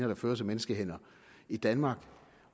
der føres af menneskehænder i danmark